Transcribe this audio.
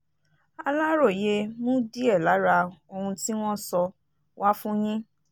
aláròye mú díẹ̀ lára ohun tí wọ́n sọ wá fún yín